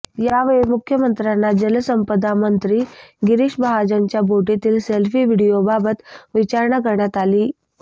यावेळी मुख्यमंत्र्यांना जलसंपदा मंत्री गिरीश महाजनांच्या बोटीतील सेल्फी व्हिडीओबाबत विचारणा करण्यात आली